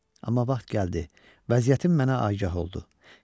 Amma vaxt gəldi, vəziyyətim mənə agah oldu.